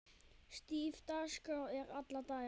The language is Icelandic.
Stíf dagskrá er alla daga.